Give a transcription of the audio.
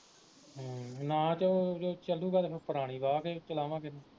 ਹਮ ਨਾ ਚਲੂ ਗਏ ਤੇ ਫਿਰ ਪੁਰਾਣੀ ਤੇ ਚਲਾਵਾਂਗੇ